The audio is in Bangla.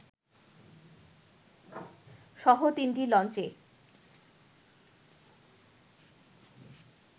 সহ তিনটি লঞ্চে